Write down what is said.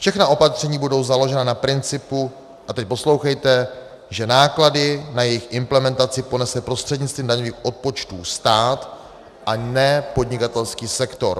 Všechna opatření budou založena na principu - a teď poslouchejte -, že náklady na jejich implementaci ponese prostřednictvím daňových odpočtů stát a ne podnikatelský sektor.